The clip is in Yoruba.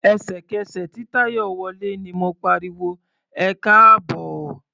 Ẹ̀sẹ̀kẹsẹ̀ tí Táyọ̀ wọlé ni mo pariwo "ẹkáàbọ̀".